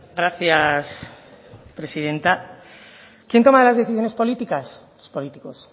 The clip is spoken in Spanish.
gracias presidenta quién toma las decisiones políticas los políticos